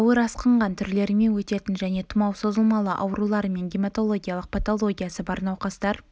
ауыр асқынған түрлерімен өтетін және тұмау созылмалы аурулары мен гематологиялық патологиясы бар науқастар